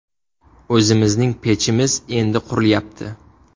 O‘zimizning pechimiz endi qurilyapti.